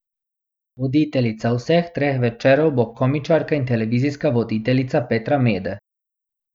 Voditeljica vseh treh večerov bo komičarka in televizijska voditeljica Petra Mede.